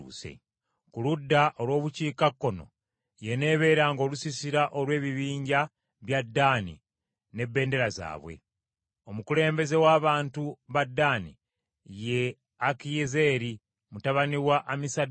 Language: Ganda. Ku ludda olw’obukiikakkono y’eneebeeranga olusiisira lw’ebibinja bya Ddaani n’ebendera yaabwe. Omukulembeze w’abantu ba Ddaani ye Akiyezeeri mutabani wa Amisadaayi.